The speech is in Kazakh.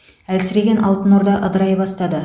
әлсіреген алтын орда ыдырай бастады